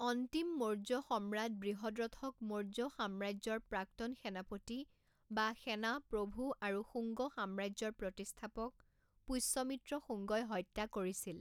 অন্তিম মৌৰ্য সম্ৰাট বৃহদ্ৰথক মৌৰ্য সাম্ৰাজ্যৰ প্ৰাক্তন সেনাপতি বা সেনা প্ৰভু আৰু শুঙ্গ সাম্ৰাজ্যৰ প্ৰতিষ্ঠাপক পুষ্যমিত্ৰ শুঙ্গই হত্যা কৰিছিল।